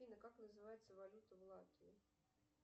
афина как называется валюта в латвии